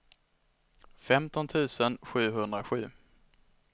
femton tusen sjuhundrasju